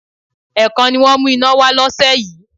Ẹ̀ẹ̀kan ni wọ́n mú iná wá lọ́sẹ̀ yìí